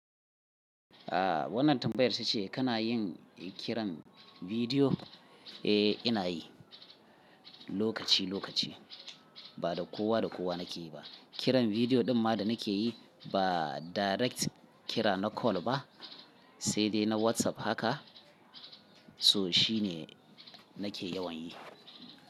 Ah wannan tambayar ta ce kana yin kiran bidiyo? Eh ina yi lokaci lokaci ba da kowa da kowa nake yi ba. Kiran bidiyo ɗin ma da nake yi ba direct kira na call ba sai dai na WhatsApp haka so shi ne nake yawan yi.